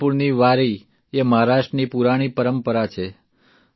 પંઢરપુરની વારીએ મહારાષ્ટ્રની પુરાણી પરંપરા છે